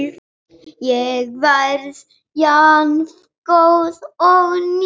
Ég verð jafngóð og ný.